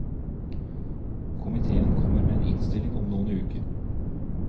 Komitéen kommer med en innstilling om noen uker.